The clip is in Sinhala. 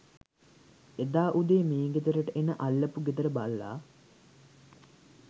එදා උදේ මේ ගෙදරට එන අල්ලපු ගෙදර බල්ලා